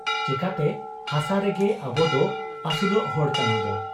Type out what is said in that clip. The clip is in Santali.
ᱪᱮᱠᱟᱛᱮ ᱦᱟᱥᱟ ᱨᱮᱜᱮ ᱟᱵᱚᱫᱚ ᱟᱹᱥᱩᱞᱚᱜ ᱦᱚᱲ ᱠᱟᱱᱟᱵᱚ ᱾